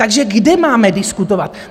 Takže kde máme diskutovat?